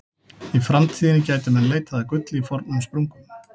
Í framtíðinni gætu menn leitað að gulli í fornum sprungum.